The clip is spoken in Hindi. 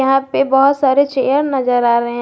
यहां पे बहुत सारे चेयर नजर आ रहे हैं।